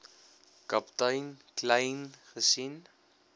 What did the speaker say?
kaptein kleyn gesien